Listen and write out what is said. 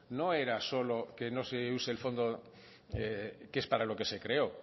no era solo que no se use el fondo que es para lo que se creó